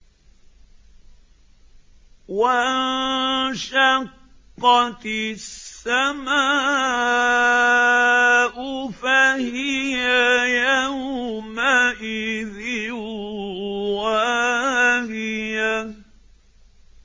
وَانشَقَّتِ السَّمَاءُ فَهِيَ يَوْمَئِذٍ وَاهِيَةٌ